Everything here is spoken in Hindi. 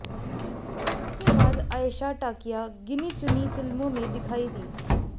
इसके बाद आएशा टाकिया गिनी चुनी फिल्मों में दिखाई दीं